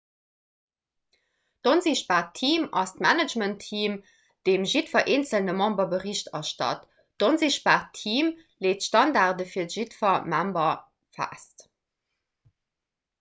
d''onsichtbaart team' ass d'managementteam deem jiddwer eenzele member bericht erstatt. d'onsichtbaart team leet d'standarde fir jiddwer member fest